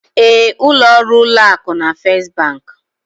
Ee, ụlọ ọrụ ụlọ akụ na First Bank